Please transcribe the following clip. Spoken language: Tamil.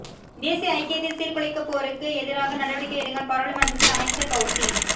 தேசிய ஐக்கியத்தை சீர்குலைப்போருக்கு எதிராக நடவடிக்கை எடுங்கள் பாராளுமன்றத்தில் அமைச்சர் பௌசி